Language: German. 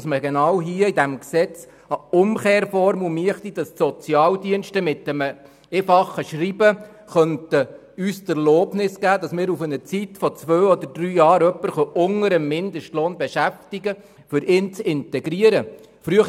Deshalb wäre es wichtig, in dieses Gesetz eine Umkehrformel einzubetten, mithilfe welcher man die Sozialdienste mit einem einfachen Schreiben um die Erlaubnis bitten könnte, jemanden zwei bis drei Jahre unter dem Mindestlohn beschäftigen zu dürfen, um ihn oder sie integrieren zu können.